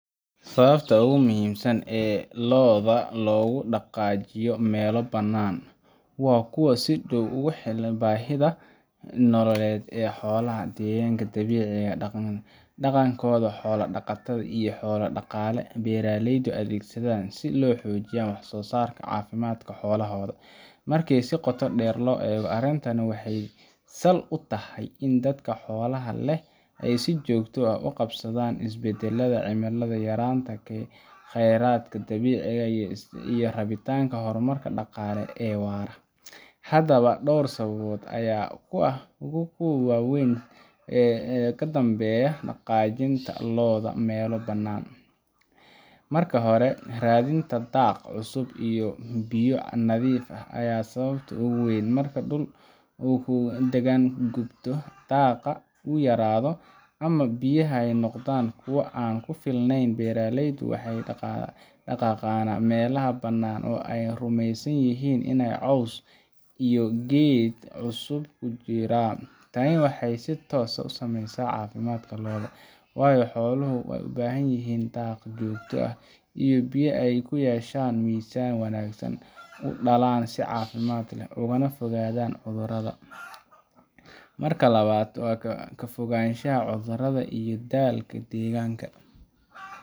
Sababaha ugu muhiimsan ee lo’da loogu dhaqaajiyo meelo bannaan, waa kuwo si dhow ugu xiran baahida nololeed ee xoolaha, deegaanka dabiiciga ah, dhaqanka xoolo-dhaqatada, iyo xeelado dhaqaale oo ay beeraleydu adeegsadaan si ay u xoojiyaan waxsoosaarka iyo caafimaadka xoolahooda. Markii si qoto dheer loo eego, arrintani waxay sal u tahay in dadka xoolaha leh ay si joogto ah ula qabsadaan isbeddelada cimilada, yaraanta kheyraadka dabiiciga ah, iyo rabitaanka horumar dhaqaale oo waara. Haddaba, dhowr sababood ayaa ah kuwa ugu waaweyn ee ka dambeeya dhaqaajinta lo’da meelo bannaan. Marka hore, raadinta daaq cusub iyo biyo nadiif ah ayaa ah sababta ugu weyn. Marka dhulkii la daganaa uu gubto, daaqa uu yaraado ama biyaha ay noqdaan kuwo aan ku filneyn, beeraleydu waxay u dhaqaaqaan meelaha bannaan oo ay rumeysan yihiin in caws iyo geedo cusub ka jiraan. Tani waxay si toos ah u saameyneysaa caafimaadka lo’da, waayo xooluhu waxay u baahan yihiin daaq joogto ah iyo biyo si ay u yeeshaan miisaan wanaagsan, u dhalaan si caafimaad leh, ugana fogaadaan cudurrada. Marka labaad, ka fogaanshaha cudurrada iyo daalka deegaanka.